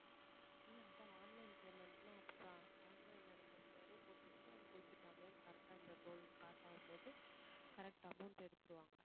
இல்ல அதான் online payment ன்னா அப்படித்தான் online number முன்னாடியே போட்டு வச்சிட்டு அதுக்கு குறிப்பிட்ட amount correct ஆ அந்த toll cross ஆகும்போது correct amount எடுத்துருவாங்க